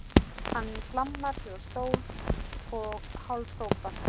Hann hlammar sér á stól og hálfhrópar